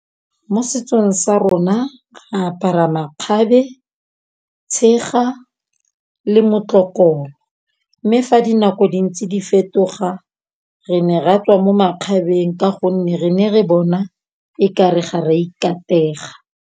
Mo setsong sa rona re apara makgabe, tshega le motlokolo, mme fa dinako di ntse di fetoga re ne ra tswa mo makgabeng ka gonne re ne re bona e kare ga re a ikapega.